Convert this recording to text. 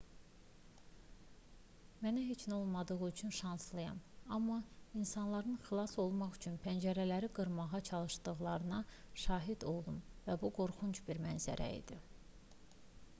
mənə heç nə olmadığı üçün şanslıyam amma insanların xilas olmaq üçün pəncərələri qırmağa çalışdıqlarına şahid oldum və bu qorxunc bir mənzərə idi